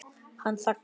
Hann þagnar.